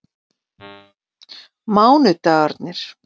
mánudagarnir